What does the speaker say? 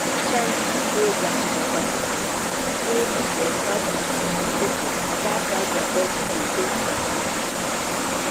charity programs for community really dey help to teach the people about how their body go dey kampe.